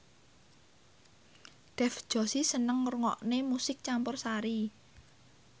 Dev Joshi seneng ngrungokne musik campursari